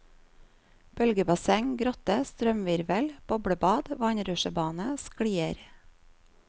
Bølgebasseng, grotte, strømhvirvel, boblebad, vannrutsjebane, sklier.